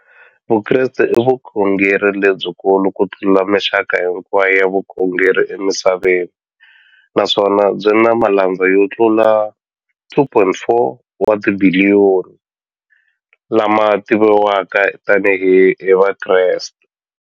Vukreste i vukhongeri lebyikulu kutlula mixaka hinkwayo ya vukhongeri emisaveni, naswona byi na malandza yo tlula 2.4 wa tibiliyoni, la ma tiviwaka tani hi Vakreste.